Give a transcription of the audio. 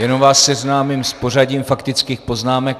Jenom vás seznámím s pořadím faktických poznámek.